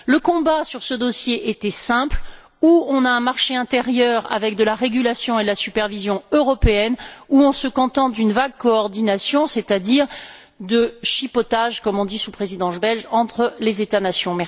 Le combat sur ce dossier était simple ou on a un marché intérieur avec de la régulation et de la supervision européenne ou on se contente d'une vague coordination, c'est à dire de chipotages, comme on dit sous Présidence belge, entre les États nations.